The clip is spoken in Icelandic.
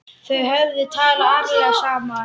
Þau hefðu talað ærlega saman.